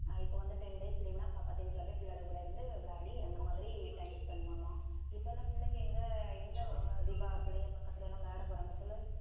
ஆஹ் இப்போ வந்து ten days leave ன்னா பக்கத்து வீட்டிலே போய் பிள்ளைங்க கூட இருந்து விளையாடி அந்த மாதிரி time spend பண்ணுவாங்க இப்போ எல்லாம் பிள்ளைங்க எங்க எங்க தீபா பிள்ளைங்க பக்கத்துல எல்லாம் விளையாட போறாங்க சொல்லு